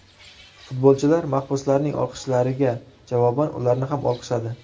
Futbolchilar mahbuslarning olqishlariga javoban ularni ham olqishladi.